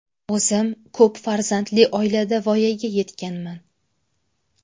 O‘zim ko‘p farzandli oilada voyaga yetganman.